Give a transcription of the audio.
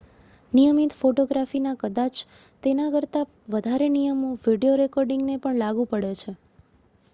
નિયમિત ફોટોગ્રાફીના કદાચ તેના કરતાં વધારે નિયમો વિડિયો રેકૉર્ડિંગને પણ લાગુ પડે છે